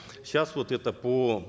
сейчас вот это по